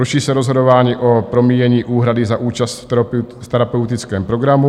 Ruší se rozhodování o promíjení úhrady za účast v terapeutickém programu.